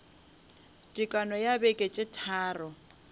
tekano ya beke tše tharo